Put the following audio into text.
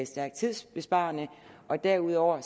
stærkt tidsbesparende derudover